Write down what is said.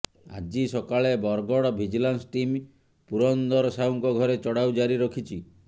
ଆଜି ସକାଳେ Bargarh vigilance team Purandar ସାହୁଙ୍କ ଘରେ ଚଢ଼ାଉ ଜାରି ରଖିଛି